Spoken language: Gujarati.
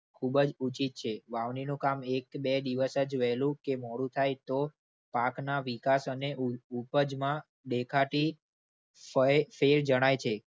ખૂબ જ ઉચિત છે. વાવણીનું કામ એક બે દિવસ જ વહેલું કે મોડું થાય તો પાકના વિકાસ અને ઉઉપજમાં દેખાતી ફયફેર જણાય છે.